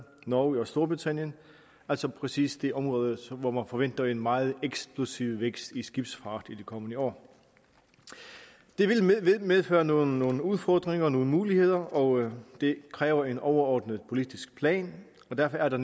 norge og storbritannien altså præcis det område hvor man forventer en meget eksplosiv vækst i skibsfart i de kommende år det vil medføre nogle nogle udfordringer og nogle muligheder og det kræver en overordnet politisk plan derfor er der